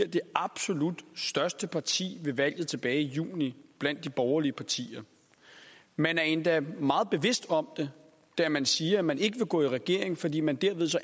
det absolut største parti ved valget tilbage i juni blandt de borgerlige partier man er endda meget bevidst om det da man siger at man ikke vil gå i regering fordi man